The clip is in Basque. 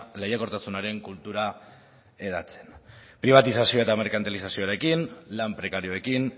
lehiakortasunaren kultura hedatzen pribatizazioa eta merkantilizazioaren lan prekarioekin